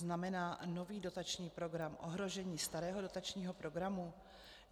Znamená nový dotační program ohrožení starého dotačního programu?